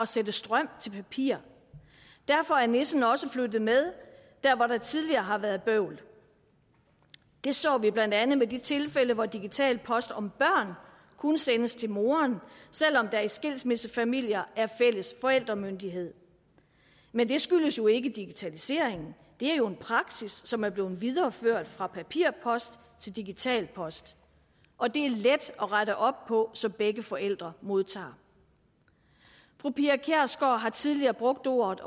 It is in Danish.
sætte strøm til papir derfor er nissen også flyttet med der hvor der tidligere har været bøvl det så vi blandt andet i de tilfælde hvor digital post om børn kun sendes til moren selv om der i skilsmissefamilier er fælles forældremyndighed men det skyldes jo ikke digitaliseringen det er jo en praksis som er blevet videreført fra papirpost til digital post og det er let at rette op på så begge forældre modtager fru pia kjærsgaard har tidligere brugt ordet